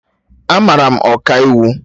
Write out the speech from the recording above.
Amara m Ọkaiwu